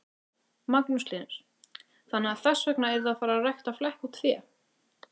Magnús Hlynur: Þannig að þess vegna eruð þið að fara rækta flekkótt fé?